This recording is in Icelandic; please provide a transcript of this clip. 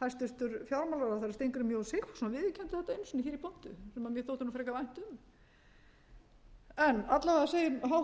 hæstvirtur fjármálaráðherra steingrímur j sigfússon viðurkenndi þetta einu sinni hér í pontu sem mér þótti nú frekar vænt um en alla vega segir